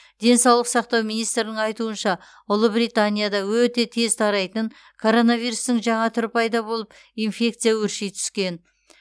денсаулық сақтау министрінің айтуынша ұлыбританияда өте тез тарайтын коронавирустың жаңа түрі пайда болып инфекция өрши түскен